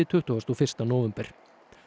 tuttugasta og fyrsta nóvember